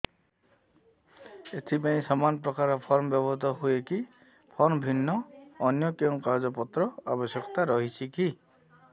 ଏଥିପାଇଁ ସମାନପ୍ରକାର ଫର୍ମ ବ୍ୟବହୃତ ହୂଏକି ଫର୍ମ ଭିନ୍ନ ଅନ୍ୟ କେଉଁ କାଗଜପତ୍ରର ଆବଶ୍ୟକତା ରହିଛିକି